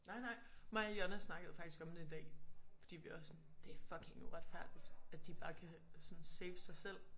Nej nej mig og Jonna snakkede faktisk om det i dag fordi vi var sådan det fucking uretfærdigt at de bare sådan kan safe sig selv